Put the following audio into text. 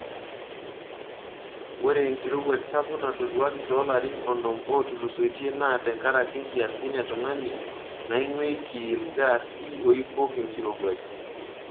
Ore enkirowuaj sapuk natoduaki toolarin onom ootulusoitie naa tenkaraki nkiasin e tungani naingweiki ilgaasi oibok enkirowuaj.